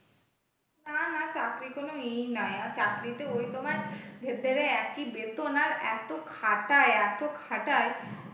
তা না চাকরি কোন ইয়ে না, আর চাকরিতে ওই তোমার ভেতরে একই বেতন আর এত খাটায় এত খাটাই,